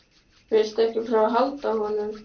Viltu ekki prófa að halda á honum?